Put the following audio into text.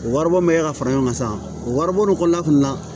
O waribon bɛ ka fara ɲɔgɔn kan sa o wari bon kɔnɔna fana na